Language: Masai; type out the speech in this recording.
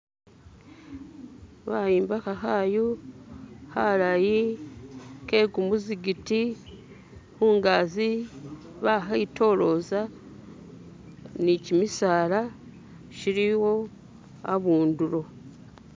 Bayimbakha khayu khalayi khe kumuzikiti khungazi bakhitoloza ni kimisala shiliwo akhundulo